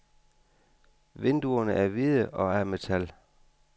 Vinduerne er hvide og af metal.